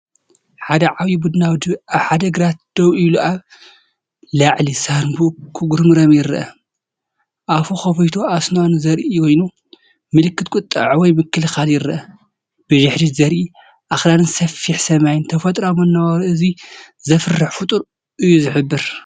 ሓደ ዓቢ ቡናዊ ድብ ኣብ ሓደ ግራት ደው ኢሉ ኣብ ላዕሊ ሳንቡኡ ክጉረምረም ይረአ። ኣፉ ከፊቱ፡ ኣስናኑ ዘርኢ ኮይኑ፡ ምልክት ቁጥዐ ወይ ምክልኻል ይረአ። ብድሕሪት ዚርአ ኣኽራንን ሰፊሕ ሰማይን፡ ተፈጥሮኣዊ መነባብሮ እዚ ዘፍርህ ፍጡር እዩ ዝሕብር።